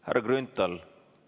Härra Grünthal!